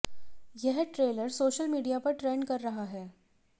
यह trailer social media पर trend कर रहा है